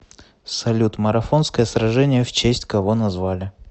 салют марафонское сражение в честь кого назвали